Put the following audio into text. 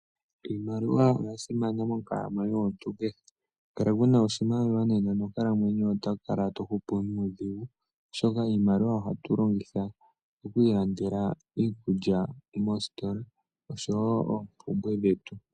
Iimaliwa oya simana monkalamwenyo yomuntu kehe ngele kuna oshimaliwa nena monkalamwenyo yoye oto kala to hupu nuudhigu ,oshoka iimaliwa oyo hatu longitha oku ilandela iikulya moositola oshowo oompumbwe dhetu.